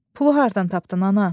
Pulu hardan tapdın, ana?